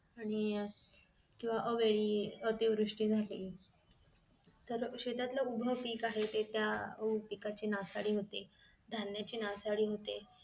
आणि केंव्हा अवेळी अतिवृष्टी झाली तर शेतातलं उभं पीक आहे ते त्या अह पिकाची नासाडी होते धान्याची नासाडी होते